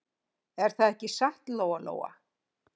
Er það ekki satt, Lóa-Lóa?